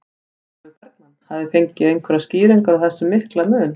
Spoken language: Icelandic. Sólveig Bergmann: Hafið þið fengið einhverjar skýringar á þessum mikla mun?